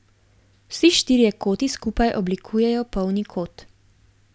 Vsi štirje koti skupaj oblikujejo polni kot.